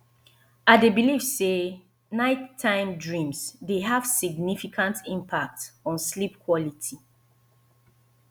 i dey believe say nighttime dreams dey have significant impact on sleep quality